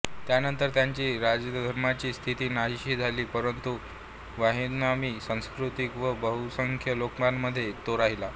त्यानंतर त्याची राज्यधर्मांची स्थिती नाहिशी झाली परंतु व्हियेतनामी संस्कृतीत व बहुसंख्य लोकांमध्ये तो राहिला